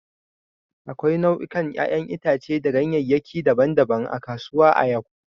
Akwai nau'ikan 'ƴa'ƴan itace da ganyeyaki daban-daban a kasuwa a yau.